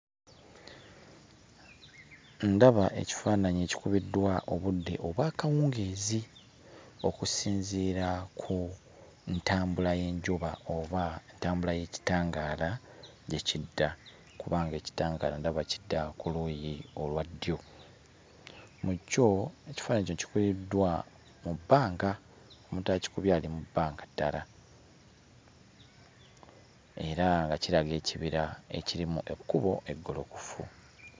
Ndaba ekifaananyi ekikubiddwa obudde obw'akawungeezi okusinziira ku ntambula y'enjuba oba entambula y'ekitangaala gye kidda kubanga ekitangaala ndaba kidda ku luuyi olwa ddyo. Mu kyo, ekifaananyi kino kikubiddwa mu bbanga, omuntu akikubye ali mu bbanga ddala era nga kiraga ekibira ekirimu ekkubo eggolokofu.